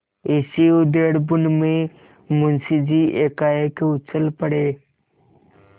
इसी उधेड़बुन में मुंशी जी एकाएक उछल पड़े